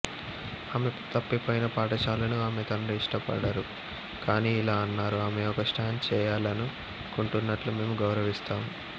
ఆమె తప్పిపోయిన పాఠశాలను ఆమె తండ్రి ఇష్టపడరు కానీ ఇలా అన్నారు ఆమె ఒక స్టాండ్ చేయాలనుకుంటున్నట్లు మేము గౌరవిస్తాము